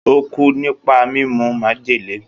Ó kú nípa mímu májèlé.